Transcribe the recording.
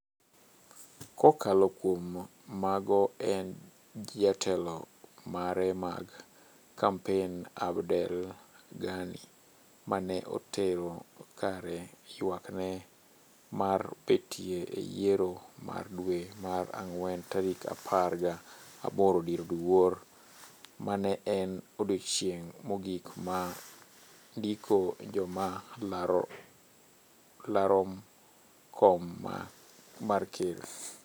kokalo kuom mago en Jatelo mare mag kampen Abdelghani ma ne otero kare yuak ne mar betiye e yiero mar dwe mar ang'wen tarik apar ga boro dier oduor. ma ne en odiechieng mogik mar ndiko joma larom kom mar ker.